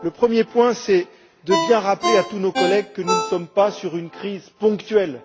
Le premier, c'est de bien rappeler à tous nos collègues que nous ne sommes pas face à une crise ponctuelle.